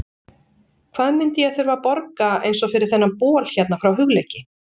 Hvað myndi ég þurfa að borga eins og fyrir þennan bol hérna frá Hugleiki?